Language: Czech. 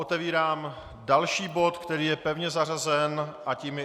Otevírám další bod, který je pevně zařazen, a tím je